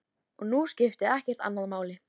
Og nú skipti ekkert annað máli.